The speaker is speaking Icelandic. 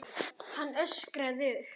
Hann öskraði upp.